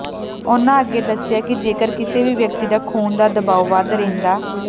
ਉਨ੍ਹਾਂ ਅੱਗੇ ਦੱਸਿਆ ਕਿ ਜੇਕਰ ਕਿਸੇ ਵੀ ਵਿਅਕਤੀ ਦਾ ਖ਼ੂੂਨ ਦਾ ਦਬਾਓ ਵੱਧ ਰਹਿੰਦਾ